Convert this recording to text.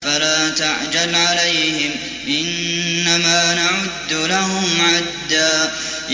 فَلَا تَعْجَلْ عَلَيْهِمْ ۖ إِنَّمَا نَعُدُّ لَهُمْ عَدًّا